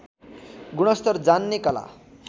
गुणस्तर जान्ने कला